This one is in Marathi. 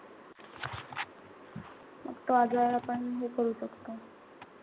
मग तो आजार आपण हे करू शकतो.